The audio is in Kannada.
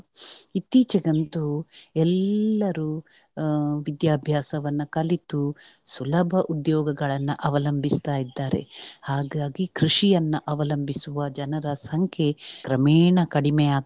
ಇತ್ತೀಚೆಗಂತೂ ಎಲ್ಲರೂ ಅಹ್ ವಿಧ್ಯಾಭ್ಯಾಸವನ್ನ ಕಲಿತು ಸುಲಭ ಉದ್ಯೋಗಗಳನ್ನ ಅವಲಂಭಿಸ್ತಾ ಇದ್ದಾರೆ ಹಾಗಾಗಿ ಕೃಷಿಯನ್ನ ಅವಲಂಭಿಸುವ ಜನರ ಸಂಖ್ಯೆ ಕ್ರಮೇಣ ಕಡಿಮೆ ಆಗ್ತಾ.